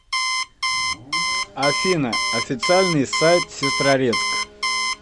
афина официальный сайт сестрорецк